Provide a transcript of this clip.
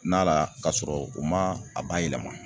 Na la kasɔrɔ u ma a bayɛlɛma